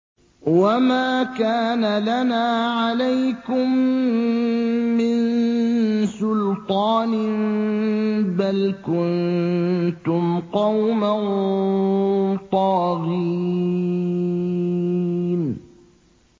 وَمَا كَانَ لَنَا عَلَيْكُم مِّن سُلْطَانٍ ۖ بَلْ كُنتُمْ قَوْمًا طَاغِينَ